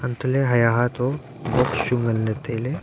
hantole haiya haa to box chu nganle taile.